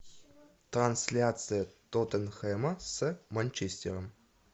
трансляция тоттенхэма с манчестером